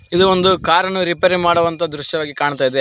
ಇದು ಒಂದು ಕಾರ ನ್ನು ರಿಪೇರಿ ಮಾಡುವ ದೃಶ್ಯ ವಾಗಿ ಕಾಣ್ತಾ ಇದೆ